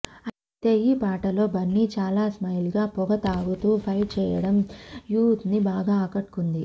అయితే ఈ పాటలో బన్నీ చాలా స్టైల్గా పొగ తాగుతూ ఫైట్ చేయడం యూత్ని బాగా ఆకట్టుకుంది